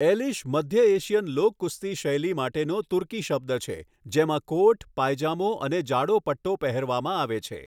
Alysh મધ્ય Asian લોક કુસ્તી શૈલી માટેનો તુર્કી શબ્દ છે જેમાં કોટ, પાયજામો અને જાડો પટ્ટો પહેરવામાં આવે છે.